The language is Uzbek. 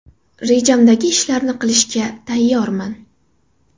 Rejamdagi ishlarni qilishga tayyorman.